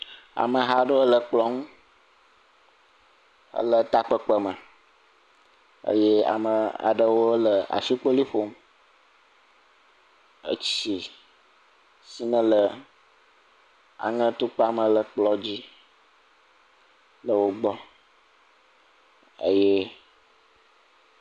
Ameha aɖe le kplɔ̃ ŋu ele takpekpe me eye ame aɖewo le ashikpoli ƒom. Etsi si ne le aŋe atukpa me le kplɔ̃ dzi le wogbɔ eye